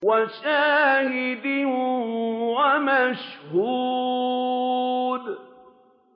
وَشَاهِدٍ وَمَشْهُودٍ